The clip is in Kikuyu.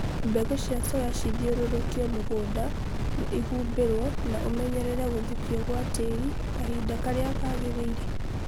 mbegũ cia soya cithiũrũkio mũgũnda na ihumbĩrwo na umenyerere gũthukio gwa tĩĩri kahinda kalira kagĩrĩile